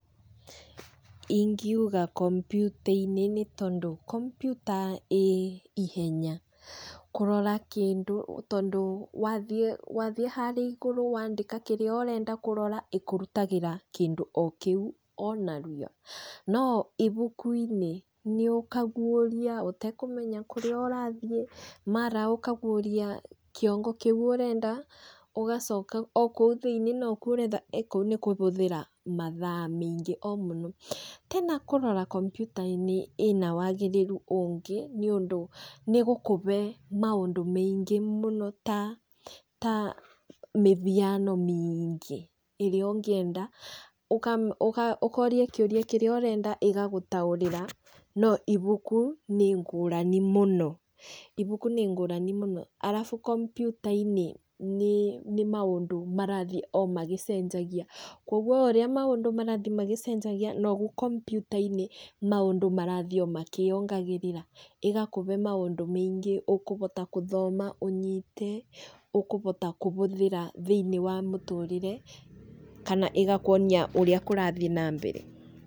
Ingiuga kompiuta-inĩ, nĩ tondũ, kompiuta ĩĩ ihenya kũrora kĩndũ. Tondũ wathiĩ wathiĩ harĩa igũrũ wandĩka kĩrĩa ũrenda kũrora, ĩkũrutagĩra kĩndũ o kĩu ona rua. No ibuku-inĩ, nĩ ũkaguũria, ũtekũmenya kũrĩa ũrathiĩ, mara ũkaguũria kĩongo kĩu ũrenda, ũgacoka o kũu thĩiniĩ no kuo ũretha. Kũu nĩ kũhũthĩra mathaa maingĩ o mũno. Tena kũrora kompiuta-inĩ ĩna wagĩrĩru ũngĩ, nĩ ũndũ nĩ ĩgũkũbe maũndũ maingĩ mũno ta ta, mĩhiano mĩingĩ, ĩrĩa ũngĩenda. Ũkoria kĩũria kĩrĩa ũrenda, ĩgagũtaũrĩra, no ibuku nĩ ngũrani mũno. Ibuku nĩ ngũrani mũno, arabu kompiuta-inĩ, nĩ nĩ maũndũ marathiĩ o magĩcenjagia. Kũguo ũrĩa maũndũ marathi magĩcenjagia noguo kompiuta-inĩ maũndũ marathiĩ o makĩongagĩrĩra, ĩgakũbe maũndũ maingĩ ũkũbota gũthoma ũnyite, ũkũbota kũhũthĩra thĩiniĩ wa mũtũrĩre, kana ĩgakuonia ũrĩa kũrathiĩ na mbere.